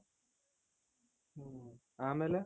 ಅಮೇಲೆ .